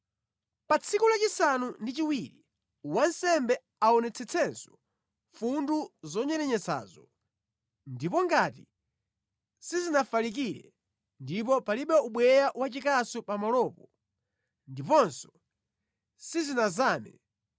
Pa tsiku lachisanu ndi chiwiri wansembe aonetsetsenso mfundu zonyerenyetsazo, ndipo ngati sizinafalikire ndipo palibe ubweya wachikasu pamalopo ndiponso sizinazame,